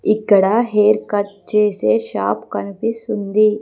ఇక్కడ hair cut చేసే shop కన్పిస్తుంది.